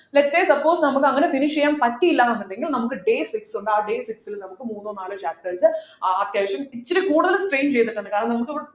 lets say suppose നമുക്ക് അങ്ങനെ finish ചെയ്യാൻ പറ്റിയില്ല എന്നുണ്ടെങ്കിൽ നമുക്ക് day six ഉണ്ട് ആ day six ലു നമുക് മൂന്നോ നാലോ chapters ആഹ് അത്യാവശ്യം ഇച്ചിരി കൂടുതൽ strain ചെയ്തിടട്ടുണ്ട് കാരണം നമുക്ക്